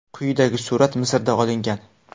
Quyidagi surat Misrda olingan.